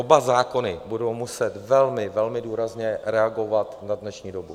Oba zákony budou muset velmi, velmi důrazně reagovat na dnešní dobu.